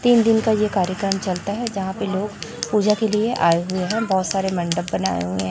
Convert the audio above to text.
तीन दिन का ये कार्यक्रम चलता है यहां पे लोग पूजा के लिए आए हुए हैं बहुत सारे मंडप बनाए हुए हैं।